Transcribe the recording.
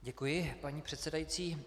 Děkuji, paní předsedající.